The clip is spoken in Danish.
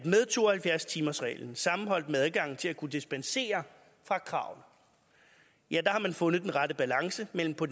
med to og halvfjerds timersreglen sammenholdt med adgangen til at kunne dispensere fra kravene har fundet den rette balance mellem på